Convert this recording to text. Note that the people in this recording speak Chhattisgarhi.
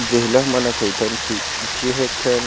जेहिला हमन कहीथन की जेह एक ठन--